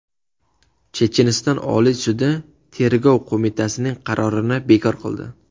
Checheniston Oliy sudi Tergov qo‘mitasining qarorini bekor qildi.